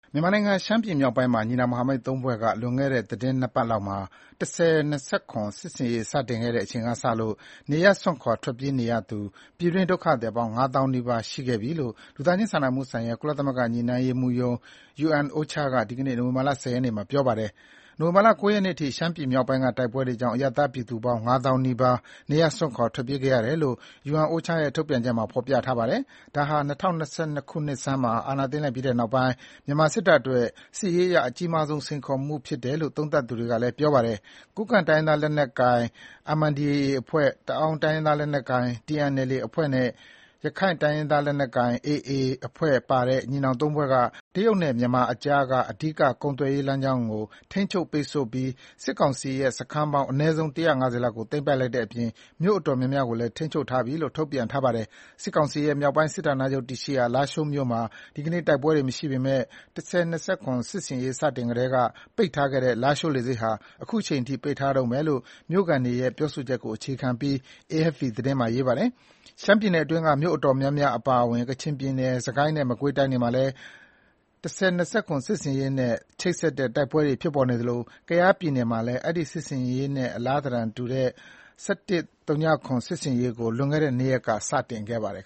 မြန်မာနိုင်ငံ၊ ရှမ်းပြည်နယ်မြောက်ပိုင်းမှာ ညီနောင် မဟာမိတ် ၃ ဖွဲ့က လွန်ခဲ့တဲ့ သီတင်း ၂ ပတ်လောက်မှာ ၁၀၂၇ စစ်ဆင်ရေး စတင်ခဲ့တဲ့ အချိန်ကစလို့ နေရပ်စွန့်ခွာ ထွက်ပြေးရသူ ပြည်တွင်းဒုက္ခသည်ပေါင်း ၅ သောင်းနီးပါး ရှိခဲ့ပြီလို့ လူသားချင်းစာနာမှုဆိုင်ရာ ကုလသမဂ္ဂ ညှိနှိုင်းရေးမှူးရုံး-UNOCHA က ဒီကနေ့ နိုဝင်ဘာ ၁၀ ရက်နေ့မှာ ပြောပါတယ်။ နိုဝင်ဘာ ၉ ရက်နေ့အထိ ရှမ်းပြည်မြောက်ပိုင်းကတိုက်ပွဲတွေကြောင့် အရပ်သားပြည်သူပေါင်း ၅ သောင်းနီးပါး နေရပ်စွန့်ခွာ ထွက်ပြေးခဲ့ကြရတယ်လို့ UNOCHA ရဲ့ ထုတ်ပြန်ချက်မှာ ဖော်ပြထားပါတယ်။ ဒါဟာ ၂၀၂၁ ခုနှစ်ဆန်းမှာ အာဏာသိမ်းလိုက်ပြီးတဲ့နောက်ပိုင်း မြန်မာစစ်တပ်အတွက် စစ်ရေးအရ အကြီးမားဆုံး စိန်ခေါ်မှုဖြစ်တယ်လို့ သုံးသပ်သူတွေကလည်း ပြောပါတယ်။ ကိုးကန့် တိုင်းရင်းသားလက်နက်ကိုင် MNDAA အဖွဲ့၊ တအာင်းတိုင်းရင်းသားလက်နက်ကိုင် TNLA အဖွဲ့နဲ့ ရက္ခိုင်တိုင်းရင်းသားလက်နက်ကိုင် AA အဖွဲ့ပါတဲ့ ညီနောင် ၃ ဖွဲ့က တရုတ်နဲ့ မြန်မာအကြားက အဓိက ကုန်သွယ်ရေးလမ်းကြောင်းကို ထိန်းချုပ် ပိတ်ဆို့လိုက်ပြီး စစ်ကောင်စီရဲ့ စခန်းပေါင်း အနည်းဆုံး ၁၅၀ လောက်ကို သိမ်းပိုက်လိုက်တဲ့အပြင် မြို့အတော်များများကိုလည်း ထိန်းချုပ်ထားပြီလို့ ထုတ်ပြန်ထားပါတယ်။ စစ်ကောင်စီရဲ့ မြောက်ပိုင်းတိုင်းစစ်ဌာနချုပ် တည်ရှိရာ လားရှိုးမြို့မှာ ဒီကနေ့ တိုက်ပွဲတွေမရှိပေမယ့် ၁၀၂၇ စစ်ရေးစတင်ကာစကတည်းက ပိတ်ထားခဲ့တဲ့ လားရှိုးလေဆိပ်ဟာ အခုချိန်ထိ ပိတ်ထားတုန်းဘဲလို့ မြို့ခံတွေရဲ့ ပြောဆိုချက်ကို အခြေခံပြီး AFP သတင်းမှာ ဖော်ပြထားပါတယ်။ ရှမ်းပြည်နယ်အတွင်းက မြို့နယ်အတော်များများအပါအဝင် ကချင်ပြည်နယ်၊ စစ်ကိုင်းနဲ့ မကွေးတိုင်းတွေမှာလည်း ၁၀၂၇ စစ်ဆင်ရေးနဲ့ ချိတ်ဆက်တဲ့ တိုက်ပွဲတွေ ဖြစ်ပေါ်နေသလို ကယားပြည်နယ်မှာလည်း အဲဒီ စစ်ဆင်ရေးရဲ့ အလားသဏ္ဍာန်တူတဲ့ ၁၁၀၇ စစ်ဆင်ရေးကို လွန်ခဲ့တဲ့ ၂ ရက်က စတင်ခဲ့ပါတယ်